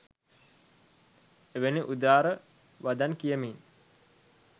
එවැනි උදාර වදන් කියමින්